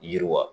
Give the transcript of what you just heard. Yiriwa